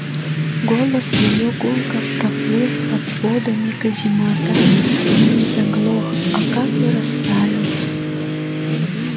голос её гулко проплыл под сводами каземата и не заглох а как бы растаял